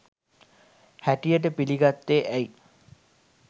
හැටියට පිළිගත්තේ ඇයි?